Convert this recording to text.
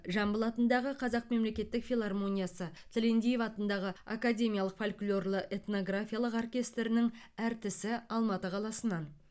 жамбыл атындағы қазақ мемлекеттік филармониясы тілендиев атындағы академиялық фольклорлы этнографиялық оркестрінің әртісі алматы қаласынан